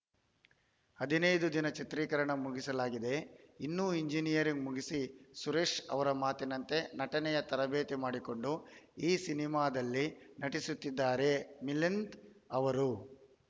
ಹದಿನೈದು ದಿನದ ಚಿತ್ರೀಕರಣ ಮುಗಿಸಲಾಗಿದೆ ಇನ್ನೂ ಇಂಜಿನಿಯರಿಂಗ್‌ ಮುಗಿಸಿ ಸುರೇಶ್‌ ಅವರ ಮಾತಿನಂತೆ ನಟನೆಯ ತರಬೇತಿ ಮಾಡಿಕೊಂಡು ಈ ಸಿನಿಮಾದಲ್ಲಿ ನಟಿಸುತ್ತಿದ್ದಾರೆ ಮಿಲಂದ್‌ ಅವರು